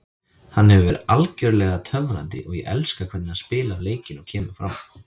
Hann hefur verið algjörlega töfrandi og ég elska hvernig hann spilar leikinn og kemur fram.